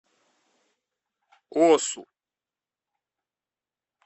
осу